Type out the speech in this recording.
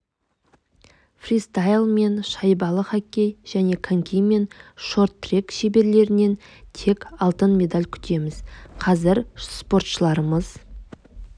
фристайл мен шайбалы хоккей және коньки мен шорт-трек шеберлерінен тек алтын медаль күтеміз қазір спортшыларымыз